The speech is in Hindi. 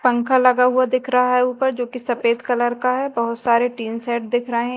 पंख लगा हुआ दिख रहा है ऊपर जोकि सफेद कलर का है बहोत सारे टीन सेट दिख रहे--